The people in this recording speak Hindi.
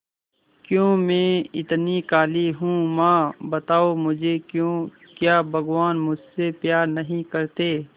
क्यों मैं इतनी काली हूं मां बताओ मुझे क्यों क्या भगवान मुझसे प्यार नहीं करते